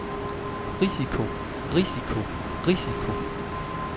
risiko risiko risiko